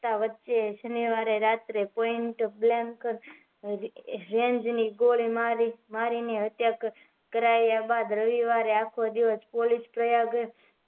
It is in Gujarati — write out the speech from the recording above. આ વચ્ચે શનીવાર રાત્રે પોઈન્ટ બ્લેન્કર રેંજ ની ગોળી મારી ને હત્યા કરાયા બાદ રવિવારે આખો દિવસ પ્રયાગ